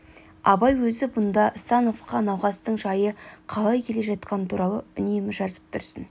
абай өзі бұнда становқа науқастың жайы қалай келе жатқаны туралы үнемі жазып тұрсын